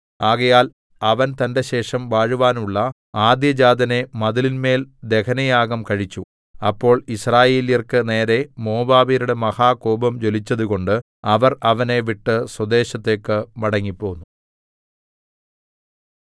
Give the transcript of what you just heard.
ആകയാൽ അവൻ തന്റെശേഷം വാഴുവാനുള്ള ആദ്യജാതനെ മതിലിന്മേൽ ദഹനയാഗം കഴിച്ചു അപ്പോൾ യിസ്രായേല്യർക്കു നേരെ മോവാബ്യരുടെ മഹാകോപം ജ്വലിച്ചതുകൊണ്ട് അവർ അവനെ വിട്ട് സ്വദേശത്തേക്ക് മടങ്ങിപ്പോന്നു